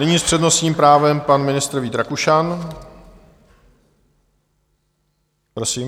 Nyní s přednostním právem pan ministr Vít Rakušan, prosím.